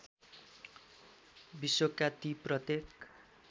विश्वका ती प्रत्येक